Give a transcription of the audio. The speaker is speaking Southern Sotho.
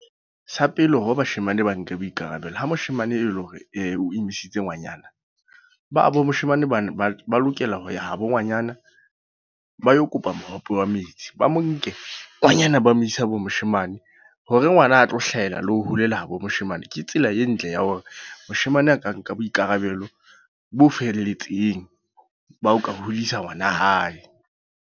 Sa pele hore bashemane ba nke boikarabelo. Ha moshemane e le hore o imisitse ngwanyana. Ba bo moshemane ba na ba lokela ho ya habo ngwanyana, ba yo kopa mohope wa metsi. Ba mo nke ngwanyana ba mo ise ha bo moshemane. Hore ngwana a tlo hlahela le ho holela habo moshemane. Ke tsela e ntle ya hore moshemane a ka nka boikarabelo bo felletseng, ba ho ka hodisa ngwana hae.